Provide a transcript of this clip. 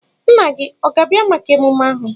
Nna gị ọ ga-abịa maka emume ahụ?